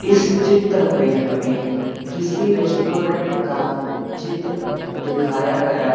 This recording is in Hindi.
इस चित्र में हमें किसी रेस्टोरेंट का चित्र दिखाया गया--